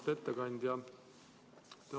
Auväärt ettekandja!